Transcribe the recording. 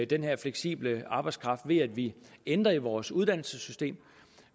den her fleksible arbejdskraft ved at vi ændrer i vores uddannelsessystem